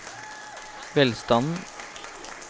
velstanden